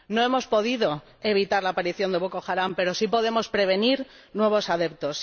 No hemos podido evitar la aparición de Boko Haram, pero sí podemos prevenir nuevos adeptos.